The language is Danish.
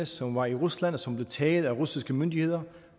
som var i rusland og som blev taget af de russiske myndigheder